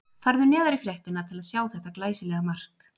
Farðu neðar í fréttina til að sjá þetta glæsilega mark.